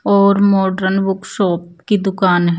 और modern book shop कि दूकान है।